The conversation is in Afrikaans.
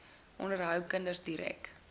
onderhou kinders direk